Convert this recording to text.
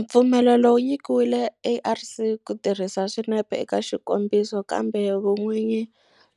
Mpfumelelo wu nyikiwile ARC ku tirhisa swinepe eka xikombiso kambe vun'winyi